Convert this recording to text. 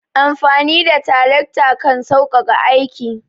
Amfani da tarakta kan sauƙaƙa aiki.